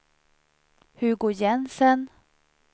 Hugo Jensen